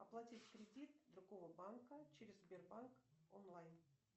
оплатить кредит другого банка через сбербанк онлайн